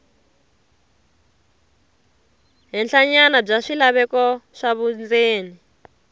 henhlanyana bya swilaveko swa vundzeni